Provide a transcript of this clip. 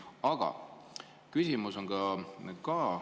Aga küsimus on ka.